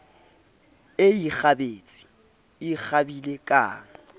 e ikgabetse e kgabile kang